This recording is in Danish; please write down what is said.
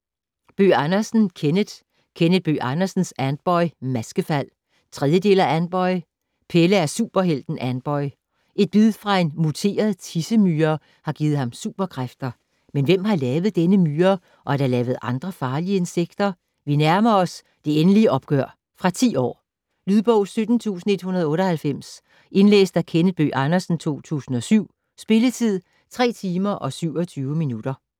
Bøgh Andersen, Kenneth: Kenneth Bøgh Andersens Antboy - Maskefald 3. del af Antboy. Pelle er superhelten Antboy. Et bid fra en muteret tissemyre har givet ham superkræfter. Men hvem har lavet denne myre, og er der lavet andre farlige insekter? Vi nærmer os det endelige opgør. Fra 10 år. Lydbog 17198 Indlæst af Kenneth Bøgh Andersen, 2007. Spilletid: 3 timer, 27 minutter.